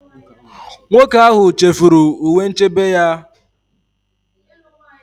Nwoke ahụ chefuru uwe nchebe ya.